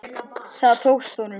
Það tókst honum.